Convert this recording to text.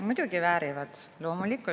Muidugi väärivad!